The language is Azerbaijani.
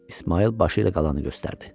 İsmayıl başı ilə qalanı göstərdi.